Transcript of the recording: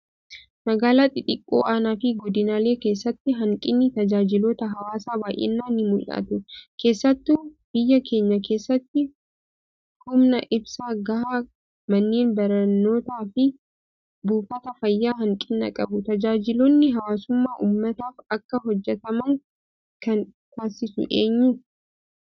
Magaalaa xixiqqoo aanaa fi godinaalee keessatti hanqinni tajaajiloota hawaasaa baay'inaan ni mul'atu. Keessattuu biyya keenya keessatti humna ibsaa gahaa, manneen barnootaa fi buufataaleen fayyaa hanqina qabu. Tajaajiloonni hawaasummaa uummataaf akka hojjatamu kan taasisu eenyu?